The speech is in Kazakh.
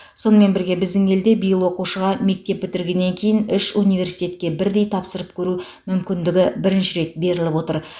сонымен бірге біздің елде биыл оқушыға мектеп бітіргеннен кейін үш университетке бірдей тапсырып көру мүмкіндігі бірінші рет беріліп отыр